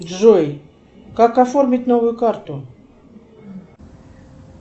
джой как оформить новую карту